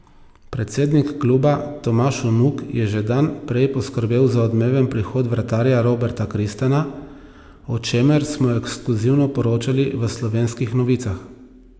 Predsednik kluba Tomaž Vnuk je že dan prej poskrbel za odmeven prihod vratarja Roberta Kristana, o čemer smo ekskluzivno poročali v Slovenskih novicah.